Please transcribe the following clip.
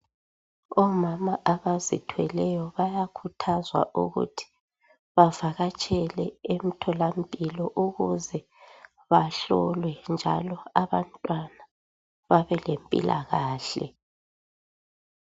Obama abazithweleyo bayakhuthazwa ukuthi bavakatshele emtholampilo ukuze bahlolwe njalo abantwana babe lempilakahle